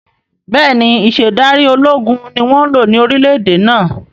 Bẹ́ẹ̀ni, Ìṣedárí ológun ni wọn ń lò ní orílẹ̀ èdè náà